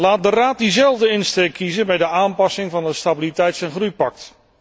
Laat de Raad dezelfde insteek kiezen bij de aanpassing van het Stabiliteits en groeipact.